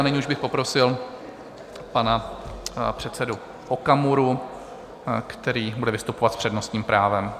A nyní už bych poprosil pana předsedu Okamuru, který bude vystupovat s přednostním právem.